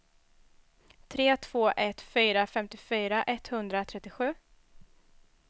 tre två ett fyra femtiofyra etthundratrettiosju